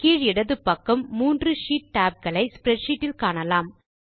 கீழ் இடது பக்கம் மூன்று ஷீட் tab களை ஸ்ப்ரெட்ஷீட் இல் காணலாம்